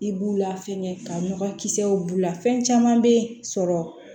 I b'u la fɛngɛ ka nɔgɔ kisɛw b'u la fɛn caman be sɔrɔ